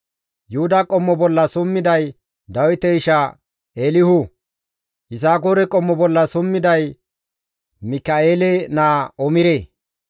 Yuhuda qommo bolla summiday Dawite isha Eelihu. Yisakoore qommo bolla summiday Mika7eele naa Omire.